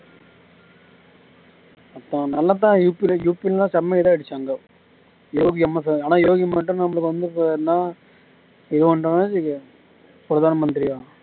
நல்லா தான் செமை இது ஆயிடுச்சு அங்க யோகி அம்மா ச யோகி மட்டும் நமக்கு வந்து என்னா இவனுக்கு பிரதான் மந்திரியா